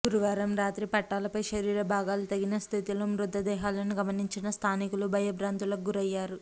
గురువారం రాత్రి పట్టాలపై శరీర భాగాలు తెగిన స్థితిలో మృతదేహాలను గమనించిన స్థానికులు భయభ్రాంతులకు గురయ్యారు